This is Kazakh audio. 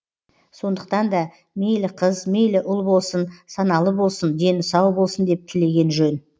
сондықтан да мейлі қыз мейлі ұл болсын саналы болсын дені сау болсын деп тілеген жөн